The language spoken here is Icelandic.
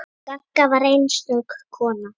Gagga var einstök kona.